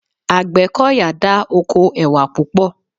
Àgbẹ́kọ̀yà dá oko ẹwà púpọ̀